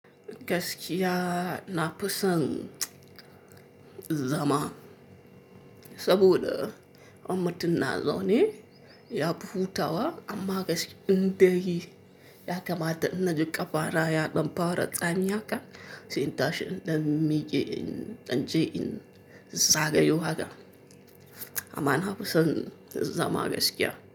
Gaskiya na fi son zama, saboda in mutun na zaune yafi hutawa amma gaskiya in dai ya kamata in na ji ƙafana ya dan fara tsami haka sai in tashi in da mike in dan je in zagayo haka. Amma na fi son zama gaskiya.